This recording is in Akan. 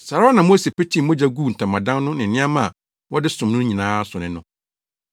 Saa ara na Mose petee mogya guu ntamadan no ne nneɛma a wɔde som no nyinaa so ne no.